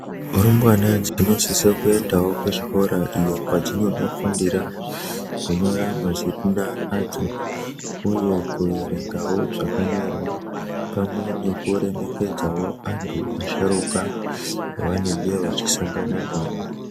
Rumbwana dzinosisa kuendavo kuzvikora iyo kwadzinondofundira kunyora mazina adzo, uye kuverengavo zvakanyorwa pamwe nekuremekedzavo antu asharuka vavanenge vachisangana navo.